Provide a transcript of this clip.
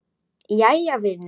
Jæja vinur.